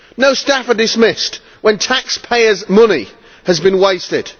No staff are dismissed when taxpayers' money has been wasted.